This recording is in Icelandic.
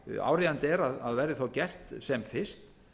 áríðandi er að verði gert sem fyrst